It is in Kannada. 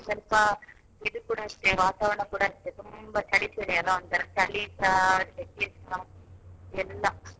ಸ್ವಲ್ಪ ಇದು ಕೂಡ ಅಷ್ಟೆ ವಾತಾವರಣ ಕೂಡ ಅಷ್ಟೆ ತುಂಬ ಚಳಿ ಚಳಿ ಅಲ್ವಾ ಒಂತರ ಚಳಿಸಾ ಸೆಖೆಸಾ ಎಲ್ಲ.